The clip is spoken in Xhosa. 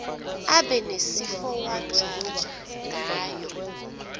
abe nesifowadyojwa ngayo